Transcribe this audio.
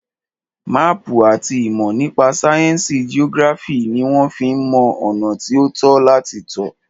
Máàpù àti ìmọ̀ nípa sáyẹnsì geography ní wọ́n fí ń mọ ọ̀nà tí o tọ́ láti tọ̀.